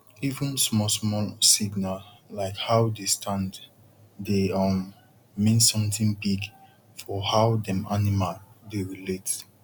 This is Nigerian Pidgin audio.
even small small signal like how dey stand dey um mean something big for how dem animal dey relate